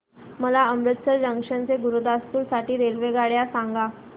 मला अमृतसर जंक्शन ते गुरुदासपुर साठी रेल्वेगाड्या सांगा